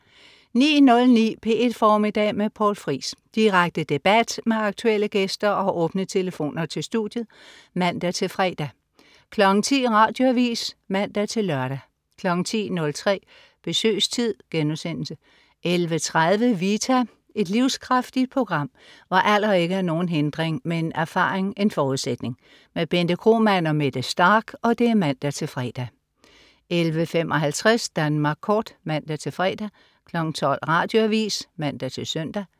09.09 P1 Formiddag med Poul Friis. Direkte debat med aktuelle gæster og åbne telefoner til studiet (man-fre) 10.00 Radioavis (man-lør) 10.03 Besøgstid* 11.30 Vita. Et livskraftigt program, hvor alder ikke er nogen hindring, men erfaring en forudsætning. Bente Kromann og Mette Starch (man-fre) 11.55 Danmark Kort (man-fre) 12.00 Radioavis (man-søn)